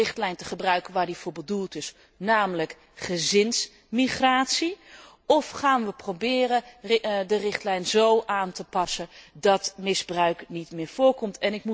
En proberen we de richtlijn te gebruiken waar die voor bedoeld is, namelijk gezinsmigratie, of gaan we proberen de richtlijn zo aan te passen dat misbruik niet meer voorkomt?